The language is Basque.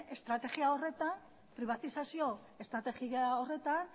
estrategia horretan pribatizazio estrategia horretan